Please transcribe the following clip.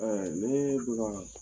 ne bi ga